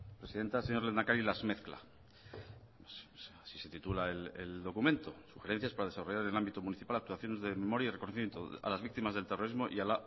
presidenta señor lehendakari las mezcla así se titula el documento sugerencias para desarrollar en el ámbito municipal actuaciones de memoria y reconocimiento a las víctimas del terrorismo